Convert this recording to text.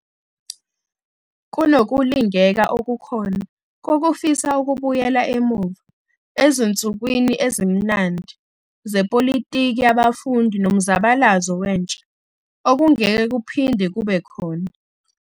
Kunokulingeka okukhona kokufisa ukubuyela emuva 'ezinsukwini ezimnandi' zepolitiki yabafundi nomzabalazo wentsha, okungeke kuphinde kube khona.